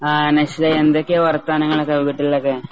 അഹ് മനസ്സിലായി എന്തൊക്കെയാ വർത്താനങ്ങളൊക്കെ വീട്ടിലൊക്കെ